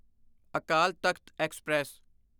Akal Takht express